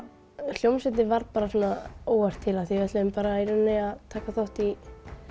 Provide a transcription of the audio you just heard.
hljómsveitin varð óvart til við ætluðum að taka þátt í